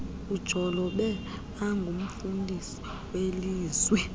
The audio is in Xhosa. ujolobe angurnfundisi welizwi